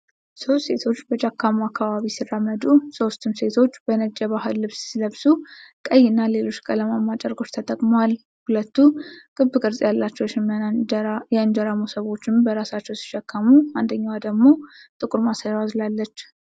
ሦስት ሴቶች በጫካማ አካባቢ ሲራመዱ ። ሦስቱም ሴቶች በነጭ የባህል ልብስ ሲለብሱ፣ ቀይና ሌሎች ቀለማማ ጨርቆች ተጠቅመዋል። ሁለቱ ክብ ቅርጽ ያላቸው የሽመና የእንጀራ መሶቦችን በራሳቸው ሲሸከሙ፣ አንደኛዋ ደግሞ ጥቁር ማሰሮ አዝላለች።